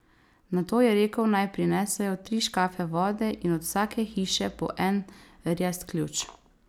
Nato je rekel, naj prinesejo tri škafe vode in od vsake hiše po en rjast ključ.